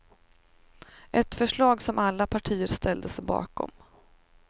Ett förslag som alla partier ställde sig bakom.